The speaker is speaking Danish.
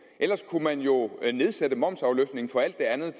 ellers kunne man jo nedsætte momsafløftningen på alt det andet